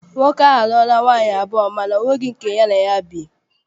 Nwoke a a lụọla nwaanyị abụọ mana ọ nweghị nke ya na ya bi.